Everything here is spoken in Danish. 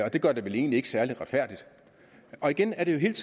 og det gør det vel egentlig ikke særlig retfærdigt og igen er det jo hele